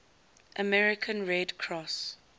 american red cross